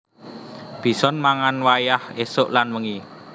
Bison mangan wayah ésuk lan wengi